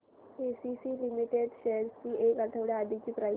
ACC limited shares ची एक आठवड्या आधीची प्राइस